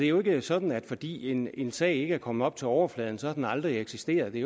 jo ikke sådan at fordi en en sag ikke er kommet op til overfladen så har den aldrig eksisteret det